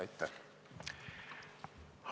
Aitäh!